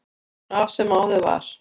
Af er sem áður var.